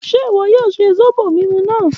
Ṣe iwọ yoo mu zobo naa mu?